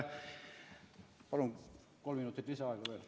Palun kolm minutit lisaaega!